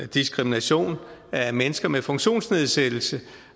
diskrimination af mennesker med funktionsnedsættelse